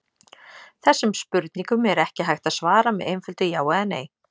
Þessum spurningum er ekki hægt að svara með einföldu já eða nei.